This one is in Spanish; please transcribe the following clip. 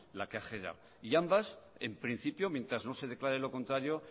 la que ha generado y ambas en principio mientras no se declare lo contrario